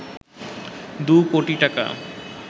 দু কোটি টাকা